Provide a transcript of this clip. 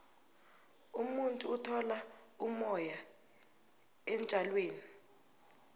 umuntu uthola umoya entjalweni